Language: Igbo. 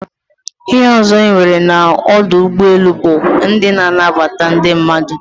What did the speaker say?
Ihe ozo enwere na odu ugboelu but ndi na-anabata ndi mmadu